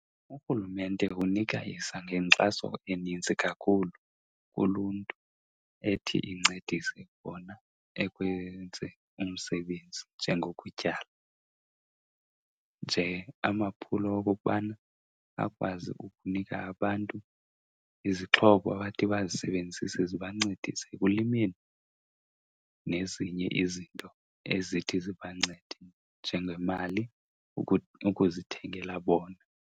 Urhulumente unikisa ngenkxaso enintsi kakhulu kuluntu ethi incedise bona ekwenzeni umsebenzi, njengokutyala. Nje amaphulo okokubana akwazi ukunika abantu izixhobo bathi bazisebenzise zibancedise ekulimeni nezinye izinto ezithi zibancede, njengemali ukuzithengela bona.